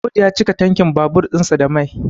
Audu ya cika tankin babur ɗinsa da Mai